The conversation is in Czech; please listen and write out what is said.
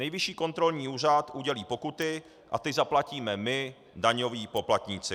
Nejvyšší kontrolní úřad udělí pokuty a ty zaplatíme my, daňoví poplatníci.